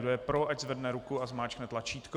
Kdo je pro, ať zvedne ruku a zmáčkne tlačítko.